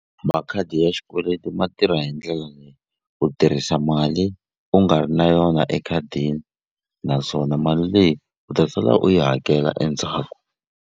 Makhadi ya xikweleti ma tirha hi ndlela leyi u tirhisa mali u nga ri na yona ekhadini naswona mali leyi u ta sala u yi hakela endzhaku.